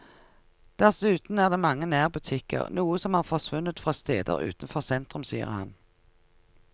Dessuten er det mange nærbutikker, noe som har forsvunnet fra steder utenfor sentrum, sier han.